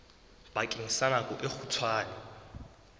bakeng sa nako e kgutshwane